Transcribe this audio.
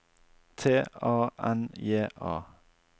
T A N J A